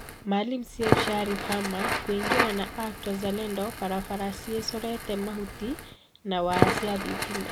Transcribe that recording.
Maalim Seif Sharif Hamad kũingira na ACT-WAZALENDO barabara ciecurite mahuti na waya cia thitima